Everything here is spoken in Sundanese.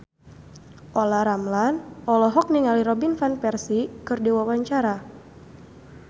Olla Ramlan olohok ningali Robin Van Persie keur diwawancara